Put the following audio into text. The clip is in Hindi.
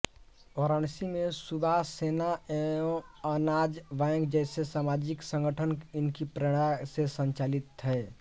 वाराणसी में सुभाष सेना एवं अनाज बैंक जैसे सामाजिक संगठन इनकी प्रेरणा से संचालित है